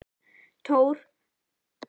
Tór, ekki fórstu með þeim?